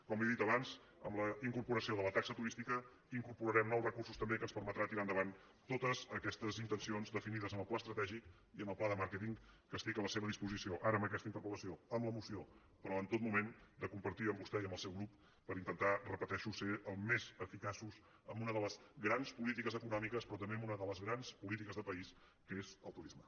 com li he dit abans amb la incorporació de la taxa tu·rística incorporarem nous recursos també que ens per·metran tirar endavant totes aquestes intencions defini·des en el pla estratègic i en el pla de màrqueting que estic a la seva disposició ara en aquest interpel·lació en la moció però en tot moment de compartir amb vostè i amb el seu grup per intentar ho repeteixo ser més eficaços en una de les grans polítiques econòmi·ques però també en una de les grans polítiques de pa·ís que és el turisme